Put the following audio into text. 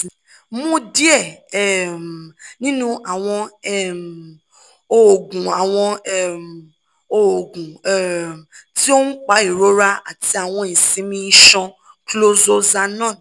mu diẹ um ninu awọn um oogun awọn um oogun um ti oun pa irora ati awọn isinmi iṣan (chlorzoxanone)